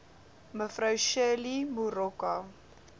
me shirley moroka